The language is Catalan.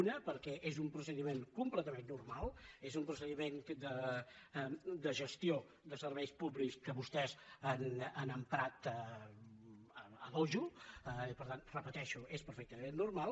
una perquè és un procediment completament normal és un procediment de gestió de serveis públics que vostès han emprat a dojo i per tant ho repeteixo és perfectament normal